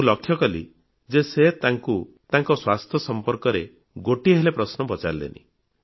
ମୁଁ ଲକ୍ଷ୍ୟକଲି ଯେ ସେ ତାଙ୍କୁ ତାଙ୍କ ସ୍ୱାସ୍ଥ୍ୟ ବିଷୟରେ ଗୋଟିଏ ହେଲେ ପ୍ରଶ୍ନ ପଚାରିଲେନି